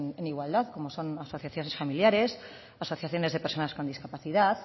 en igualdad como son asociaciones familiares asociaciones de personas con discapacidad